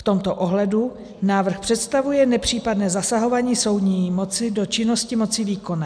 V tomto ohledu návrh představuje nepřípadné zasahování soudní moci do činnosti moci výkonné.